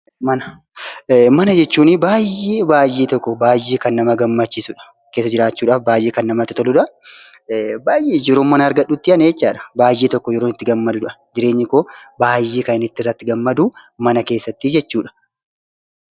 Mana. Mana jechuun baayyee kan namatti toluudha. Keessa jiraachuuf kan namatti toluudha. Yeroon mana argadhutti jireenyi koo baayyee kan natti toluudha.